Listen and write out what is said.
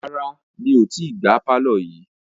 Rárá mi ò tí gbá pàlọ́ yìí